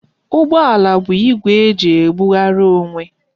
Ụgbọala bụ igwe eji ebughari onwe